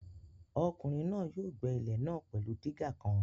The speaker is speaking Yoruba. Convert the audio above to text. Ọkùnrin náà yóò gbẹ́ ilẹ̀ náà pẹ̀lú dígà kan